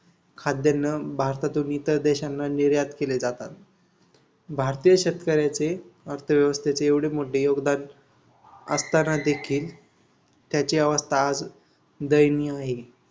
खाद्यान्न भारतातून इतर देशांना निर्यात केले जाते. भारतीय शेतकऱ्याचे अर्थव्यवस्थेत एवढे मोठे योगदान असताना देखील त्याची अवस्था आज दैनीय आहे.